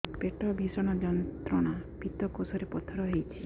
ପେଟ ଭୀଷଣ ଯନ୍ତ୍ରଣା ପିତକୋଷ ରେ ପଥର ହେଇଚି